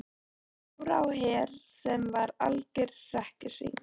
Dóra á Her sem var algjört hrekkjusvín.